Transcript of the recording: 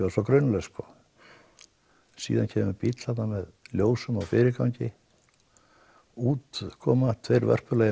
var svo grunlaus sko síðan kemur bíll þarna með ljósum og fyrirgangi út koma tveir